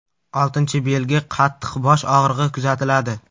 Oltinchi belgi qattiq bosh og‘rig‘i kuzatiladi.